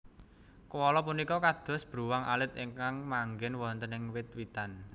Koala punika kados bruwang alit ingkang manggén wonten ing wit witan